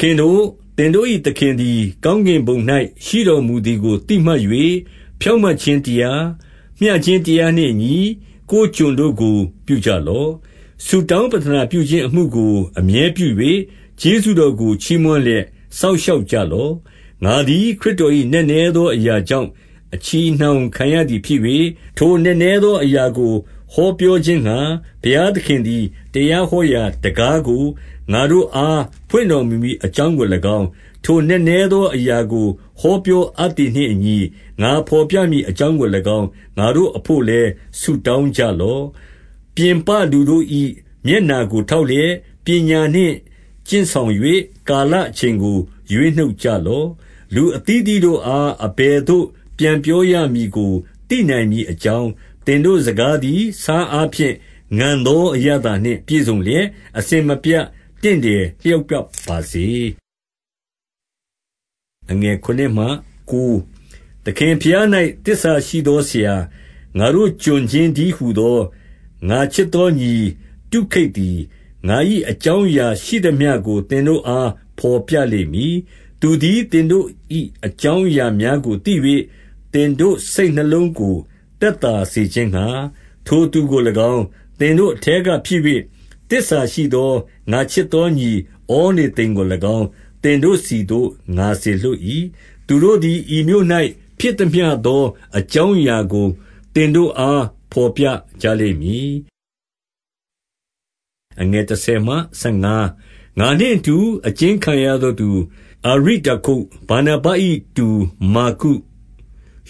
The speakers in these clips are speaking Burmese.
ခင်တို့၊ သင်တို့၏သခင်သည် ကောင်းကင်ဘုံ၌ ရှိတော်မူသည်ကို သိမှတ်၍၊ ဖြောင့်မတ်ခြင်းတရား၊ မျှခြင်းတရားနှင့်အညီ ကိုယ်ကျွန်တို့ကို ပြုကြလော့။ ဆုတောင်းပဋ္ဌနာပြုခြင်းအမှုကို အမြဲပြု၍၊ ကျေးဇူးတော်ကို ချီးမွမ်းလျက် စောင့်ရှောက်ကြလော့။ ငါသည် ခရစ်တော်၏ နက်နဲသောအရာကြောင့် အချည်အနှောင်ခံရသည်ဖြစ်၍။ ထိုနက်နဲသောအရာကို ဟောပြောခြင်းငှါ၊ ဘုရားသခင်သည် တရားဟောရာတံခါးကို ငါတို့အား ဖွင့်တော်မူမည် အကြောင်းကို၎င်း၊ ထိုနက်နဲသောအရာကို ဟောပြောအပ်သည်နှင့်အညီ ငါဘော်ပြမည် အကြောင်းကို၎င်း၊ ငါတို့အဘို့လည်း ဆုတောင်းကြလော့။ ပြင်ပလူတို့၏ မျက်နှာကိုထောက်လျက်၊ ပညာနှင့် ကျင့်ဆောင်၍ ကာလအချိန်ကို ရွေးနှုတ်ကြလော့။ လူအသီးအသီးတို့အား အဘယ်သို့ ပြန်ပြောရမည်ကို သိနိုင်မည်အကြောင်း၊ သင်တို့စကားသည် ဆားအားဖြင့်ငန်သော အရသာနှင့်ပြည့်စုံလျက်၊ အစဉ်မပြတ်တင့်တယ်လျောက်ပတ်ပါစေ။ သခင်ဘုရား၌ သစ္စာရှိသောဆရာ၊ ငါတို့ကျွန် ချင်းတည်းဟူသော၊ ငါချစ်သောညီ တုခိတ်သည် ငါ၏ အကြောင်းအရာရှိသမျှကို သင်တို့အား ဘော်ပြလိမ့်မည်။ သူသည် သင်တို့၏အကြောင်းအရာများကို သိ၍၊ သင်တို့စိတ်နှလုံးကို သက်သာစေခြင်းငှါ၊ ထိုသူ ကို၎င်း၊ သင်တို့အထဲကဖြစ်၍ သစ္စာရှိသော ငါချစ်သောညီ ဩနေသိမ်ကို၎င်း၊ သင်တို့ဆီသို့ ငါစေလွှတ်၏။ သူတို့သည် ဤမြို့၌ဖြစ်သမျှသော အကြောင်းအရာကို သင်တို့အား ဘော်ပြကြလိမ့်မည်။ ငါနှင့်အတူ အကျဉ်းခံရသောသူ အာရိတ္တာခု၊ ဗာနဗ၏ တူမာကု၊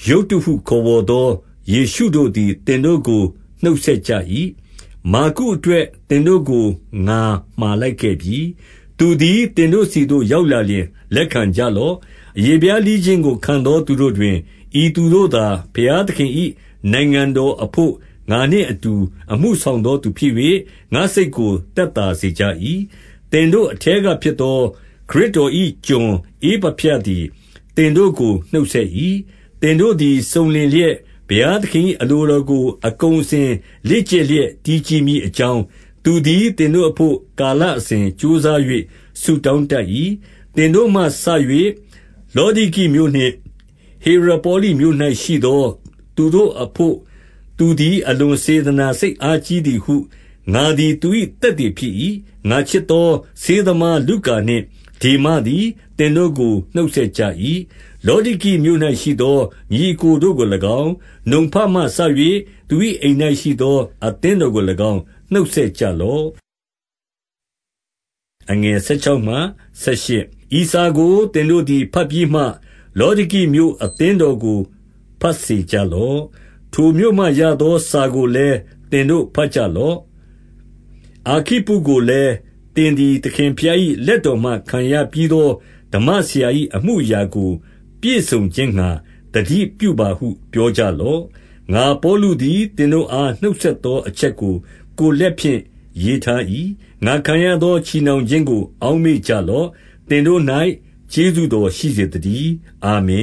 ယုတ္တုဟုခေါ်ဝေါ်သော ယေရှုတို့ သည် သင်တို့ကို နှုတ်ဆက်ကြ၏။ မာကုအတွက်သင်တို့ကို ငါမှာလိုက်ခဲ့ပြီ။ သူသည် သင်တို့ဆီသို့ ရောက်လာလျှင် လက်ခံကြလော့။ အရေဖျားလှီးခြင်းကိုခံသော သူတို့တွင် ဤသူတို့သာ ဘုရားသခင်၏နိုင်ငံတော်အဘို့ ငါနှင့်အတူ အမှု ဆောင်သောသူဖြစ်၍၊ ငါ့စိတ်ကို သက်သာစေကြ၏။ သင်တို့အထဲကဖြစ်သော ခရစ်တော်၏ကျွန် ဧပဖြသည် သင်တို့ကို နှုတ်ဆက်၏။ သင်တို့သည် စုံလင်လျက်၊ ဘုရားသခင်၏ အလိုတော်ကို အကုန်အစင် လေ့ကျက်လျက် တည်ကြည်မည်အကြောင်း သူသည် သင်တို့အဘို့ ကာလအစဉ်ကြိုးစား၍ ဆုတောင်းတတ်၏။ သင်တို့မှစ၍ လောဒိကိမြို့နှင့် ဟေရပေါလိမြို့၌ ရှိသော သူတို့အဘို့ သူသည် အလွန်စေတနာစိတ် အားကြီးသည်ဟု ငါသည် သူ၏သက်သေဖြစ်၏။ ငါချစ်သော ဆေးသမားလုကာနှင့် ဒေမသည် သင်တို့ကို နှုတ်ဆက်ကြ၏။ လောဒိကိမြို့၌ရှိသော ညီအစ်ကိုတို့ကို၎င်း၊ နံဖမှ စ၍ သူ၏အိမ်၌ရှိသော အသင်းတော်ကို၎င်း နှုတ်ဆက်ကြလော့။ ဤစာကို သင်တို့သည် ဘတ်ပြီးမှ လောဒိကိမြို့ အသင်းတော်ကို ဘတ်စေကြလော့။ ထိုမြို့မှရသော စာကိုလည်း သင်တို့ဘတ်ကြလော့။ အာခိပ္ပုကိုလည်း၊ သင်သည် သခင်ဘုရား၏ လက်တော်မှ ခံရပြီးသော ဓမ္မဆရာ၏အမှုအရာကို ပြည့်စုံခြင်းငှါ သတိပြုပါဟု ပြောကြလော့။ ငါပေါလုသည် သင်တို့အား နှုတ်ဆက်သောအချက်ကို ကိုယ်လက်ဖြင့် ရေးထား၏။ ငါခံရသော ချည်နှောင်ခြင်းကို အောက်မေ့ကြလော့။ သင်တို့၌ ကျေးဇူးတော်ရှိစေသတည်း ။ အာမင